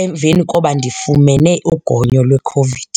emveni koba ndifumene ugonyo lweCOVID.